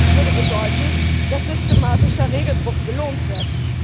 Das würde bedeuten, dass systematischer Regelbruch belohnt wird.